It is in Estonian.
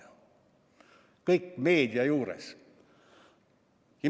Kõik toimus meedia juuresolekul.